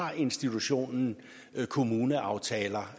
har institutionen kommuneaftaler